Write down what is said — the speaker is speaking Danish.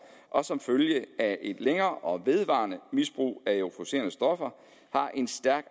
og som følge af et længere og vedvarende misbrug af euforiserende stoffer har en stærk